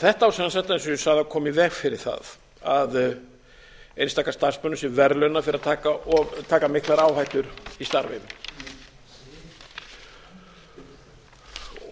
þetta á sem sagt eins og ég sagði að koma í veg fyrir það að einstaka starfsmenn séu verðlaunaðir fyrir að taka miklar áhættur í starfi